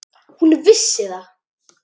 Hún vissi það.